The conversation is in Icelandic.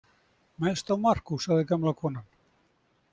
Mest á Markús, sagði gamla konan.